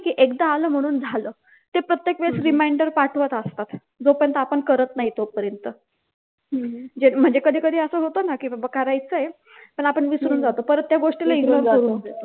की एकदा आलं म्हणून झालं ते प्रत्येक वेळेस reminder पाठवत असतात. जोपर्यंत आपण करत नाही तोपर्यंत म्हणजे कधी कधी असं होतं ना की बाबा करायचय पण आपण विसरून जातो परत त्या गोष्टीला ignore करत